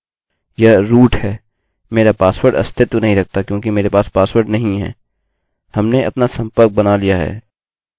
मेरा पासवर्ड अस्तित्व नहीं रखता क्योंकि मेरे पास पासवर्ड नहीं है